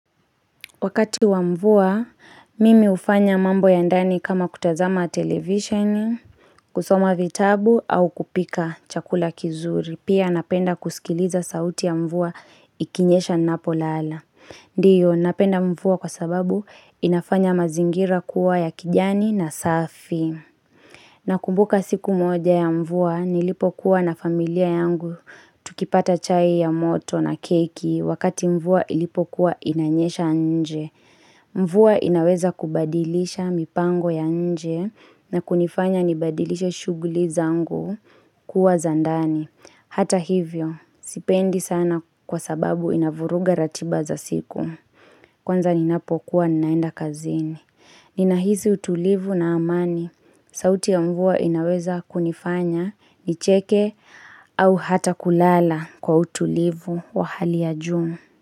Wakati wa mvua, mimi hufanya mambo ya ndani kama kutazama televisheni, kusoma vitabu au kupika chakula kizuri. Pia napenda kusikiliza sauti ya mvua ikinyesha napolala. Ndiyo, napenda mvua kwa sababu inafanya mazingira kuwa ya kijani na safi. Nakumbuka siku moja ya mvua, nilipokuwa na familia yangu tukipata chai ya moto na keki wakati mvua ilipokuwa inanyesha nje. Mvua inaweza kubadilisha mipango ya nje na kunifanya nibadilishe shughuli zangu kuwa za ndani. Hata hivyo, sipendi sana kwa sababu inavuruga ratiba za siku. Kwanza ninapokuwa ninaenda kazini. Ninahisi utulivu na amani. Sauti ya mvua inaweza kunifanya nicheke au hata kulala kwa utulivu wa hali ya juu.